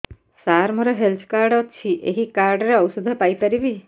ସାର ମୋର health card ଅଛି ଏହି କାର୍ଡ ରେ ଔଷଧ ପାଇପାରିବି